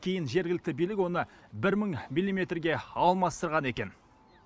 кейін жергілікті билік оны бір мың милиметрге алмастырған екен